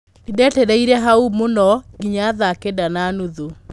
Nĩndetereire hau mũno nginya thaa Kenda na nuthu.